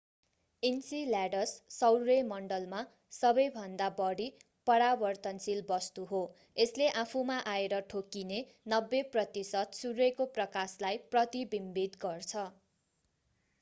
enceladus सौर्यमण्डलमा सबैभन्दा बढी परावर्तनशील वस्तु हो यसले आफूमा आएर ठोक्किने 90 प्रतिशत सूर्यको प्रकाशलाई प्रतिबिम्बित गर्छ